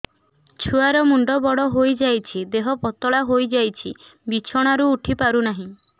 ଛୁଆ ର ମୁଣ୍ଡ ବଡ ହୋଇଯାଉଛି ଦେହ ପତଳା ହୋଇଯାଉଛି ବିଛଣାରୁ ଉଠି ପାରୁନାହିଁ